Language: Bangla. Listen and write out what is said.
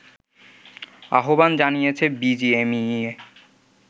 আহ্বান জানিয়েছে বিজিএমইএ